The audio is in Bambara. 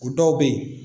O dɔw bɛ yen